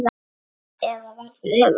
Eða var það öfugt?